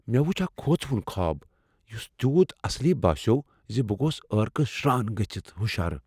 مے٘ وٗچھ اكھ خوژوٗن خواب یٗس تِیوُت اصلی باسیو٘ زِ بہٕ گوس ٲركہٕ شران گژھِتھ ہٗشار ۔